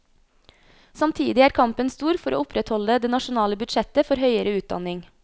Samtidig er kampen stor for å opprettholde det nasjonale budsjettet for høyere utdanning.